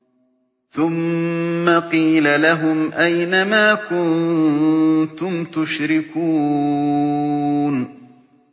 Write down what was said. ثُمَّ قِيلَ لَهُمْ أَيْنَ مَا كُنتُمْ تُشْرِكُونَ